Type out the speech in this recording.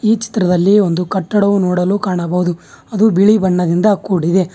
ಈ ಚಿತ್ರದಲ್ಲಿ ಒಂದು ಕಟ್ಟಡವು ನೋಡಲು ಕಾಣಬಹುದು ಅದು ಬಿಳಿ ಬಣ್ಣದಿಂದ ಕೂಡಿದೆ.